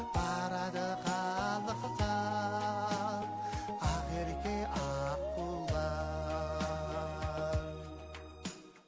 барады қалықтап ақ ерке аққулар